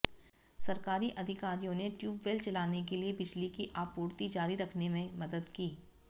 सरकारी अधिकारियों ने टयूबवेल चलाने के लिए बिजली की आपूर्ति जारी रखने में मदद की